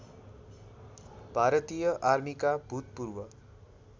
भारतीय आर्मीका भूतपूर्व